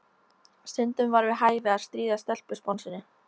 Stundum var við hæfi að stríða stelpusponsinu.